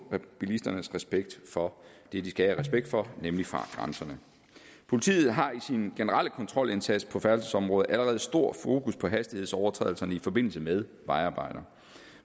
bilisternes respekt for det de skal have respekt for nemlig fartgrænserne politiet har i sin generelle kontrolindsats på færdselsområdet allerede stor fokus på hastighedsovertrædelser i forbindelse med vejarbejder